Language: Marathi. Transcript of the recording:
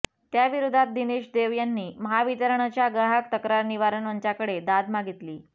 त्याविरोधात दिनेश देव यांनी महावितरणच्या ग्राहक तक्रार निवारण मंचाकडे दाद मागितली